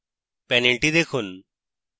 panel দেখুন